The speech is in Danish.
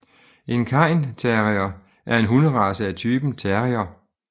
En cairn terrier er en hunderace af typen terrier